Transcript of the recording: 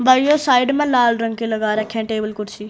भाईयों साइड में लाल रंग के लगा रखे हैं टेबल कुर्सी।